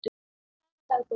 Kæra dagbók!